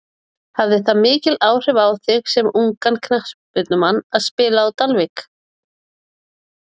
Hafði það mikil áhrif á þig sem ungan knattspyrnumann að spila á Dalvík?